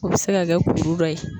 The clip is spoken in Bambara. O bɛ se ka kɛ kuru dɔ ye.